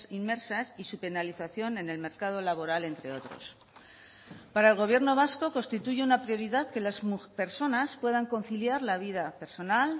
inmersas y su penalización en el mercado laboral entre otros para el gobierno vasco constituye una prioridad que las personas puedan conciliar la vida personal